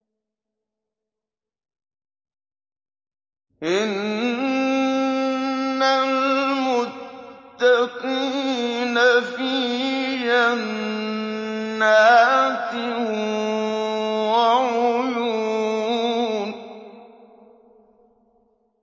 إِنَّ الْمُتَّقِينَ فِي جَنَّاتٍ وَعُيُونٍ